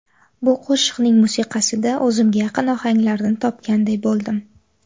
Bu qo‘shiqning musiqasida o‘zimga yaqin ohanglarni topganday bo‘ldim.